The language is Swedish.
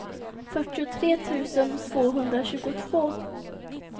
fyrtiotre tusen tvåhundratjugotvå